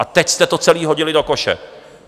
A teď jste to celé hodili do koše.